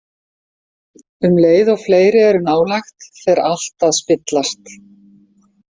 Um leið og fleiri eru nálægt fer allt að spillast.